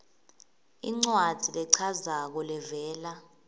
incwadzi lechazako levela